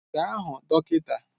Gaa hụ dọkịta